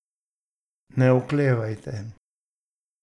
Ne oklevajte!